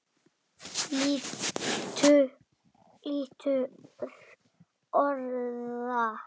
Litur orða